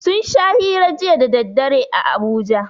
Sun sha hira jiya daddare a Abuja